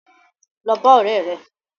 Lọ bá ọ̀rẹ́ rẹ.